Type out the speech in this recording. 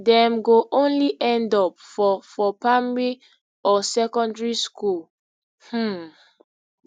dem go only end up for for primary or secondary school um